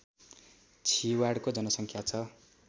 छिवाडको जनसङ्ख्या छ